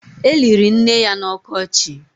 E liri nne ya n'ọkọchị